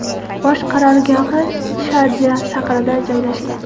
Bosh qarorgohi Sharja shahrida joylashgan.